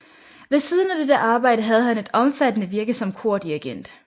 Ved siden af dette arbejde havde han et omfattende virke som kordirigent